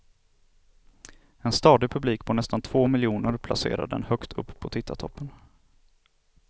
En stadig publik på nästan två miljoner placerar den högt upp på tittartoppen.